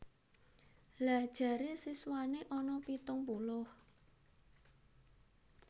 Lha jare siswane ana pitung puluh?